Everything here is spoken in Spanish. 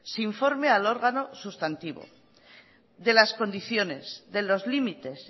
se informe al órgano sustantivo de las condiciones de los limites